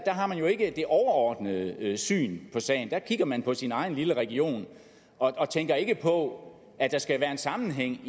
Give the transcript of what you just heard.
har man jo ikke det overordnede syn på sagen der kigger man på sin egen lille region og tænker ikke på at der skal være en sammenhæng